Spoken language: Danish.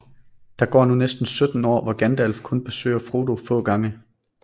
Der går nu næsten 17 år hvor Gandalf kun besøger Frodo få gange